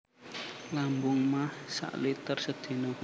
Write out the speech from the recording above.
Lambung maag sak liter sedina